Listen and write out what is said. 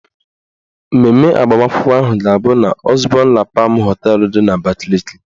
Mmemme agbamakwụkwọ ahụ ga-abụ n' Ọzbọn La Pam họteelụ dị n'Abakaliki.